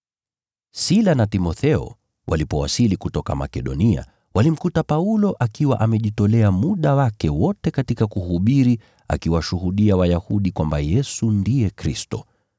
Sila na Timotheo walipowasili kutoka Makedonia, walimkuta Paulo akiwa amejitolea muda wake wote katika kuhubiri, akiwashuhudia Wayahudi kwamba Yesu ndiye Kristo